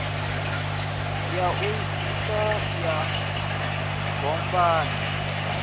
ya u sa ya dombani